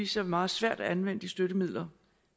sig meget svært at anvende de støttemidler